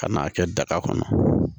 Ka n'a kɛ daga kɔnɔ